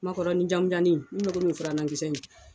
Makɔrɔnin jamanjannin mun be furanna kisɛnin.